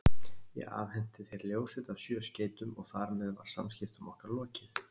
Ég afhenti þér ljósrit af sjö skeytum, og þar með var samskiptum okkar lokið.